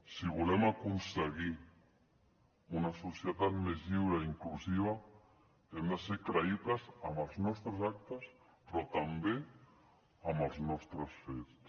si volem aconseguir una societat més lliure i inclusiva hem de ser creïbles amb els nostres actes però també amb els nostres fets